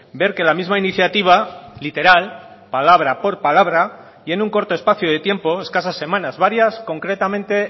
ver que la misma iniciativa literal palabra por palabra y en un corto espacio de tiempo escasas semanas varias concretamente